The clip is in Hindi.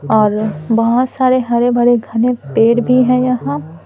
और बहुत सारे हरे भरे घने पेड़ भी हैं यहाँ--